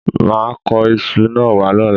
Mà á kó isu náà wá lọ́la